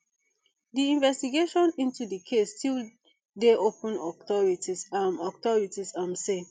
di investigation into di case still dey open authorities um authorities um say